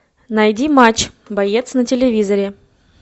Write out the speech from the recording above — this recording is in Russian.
найди матч боец на телевизоре